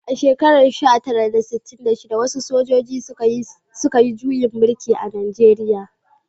A shekarar sha tara da sittin da shida, wasu sojoji shida, suka yi juyin mulki a Najeriya